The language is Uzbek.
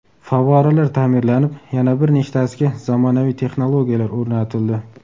Favvoralar ta’mirlanib, yana bir nechtasiga zamonaviy texnologiyalar o‘rnatildi.